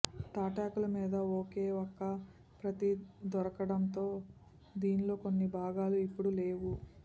తాటాకుల మీద ఒకే ఒక్క ప్రతి దొరకటంతో దీన్లో కొన్ని భాగాలు ఇప్పుడు లేవు